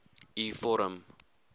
u vorm